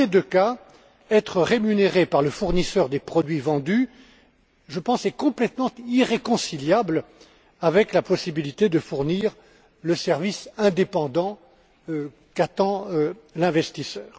Dans ces deux cas, être rémunéré par le fournisseur des produits vendus, je pense, est complètement irréconciliable avec la possibilité de fournir le service indépendant qu'attend l'investisseur.